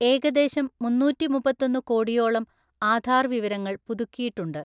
ഏകദേശം മുന്നൂറ്റിമുപ്പത്തൊന്നു കോടിയോളം ആധാര്‍ വിവരങ്ങള്‍ പുതുക്കിയിട്ടുണ്ട്.